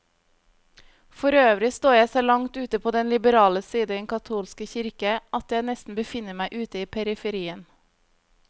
Forøvrig står jeg så langt ute på den liberale side i den katolske kirke, at jeg nesten befinner meg ute i periferien.